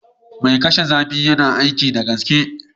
Mai kashe zafi yana aiki da gaske